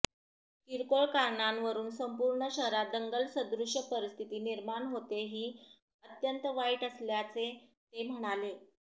किरकोळ कारणावरून संपूर्ण शहरात दंगल सदृश्य परिस्थिती निर्माण होते ही अत्यंत वाईट असल्याचे ते म्हणाले